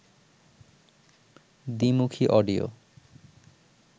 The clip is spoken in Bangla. দ্বিমুখী অডিও